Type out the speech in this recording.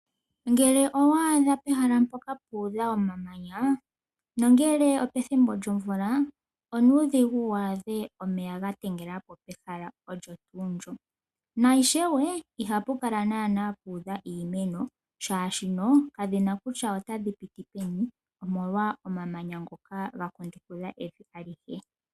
Ngele owaadha pehala mpoka puudha omamanya nongele opethimbo lyomvula onuudhigu waadhe omeya gatengelapo pehala olyo tuu ndyo na ishewe ihapu kala naana puudha iimeno shaashi kadhina kutya otayi piti peni omolwa omamanya ngoka ga kundukidha evi alihe.